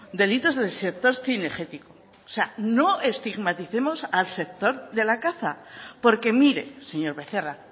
delitos del sector cinegético o sea no estigmaticemos al sector de la caza porque mire señor becerra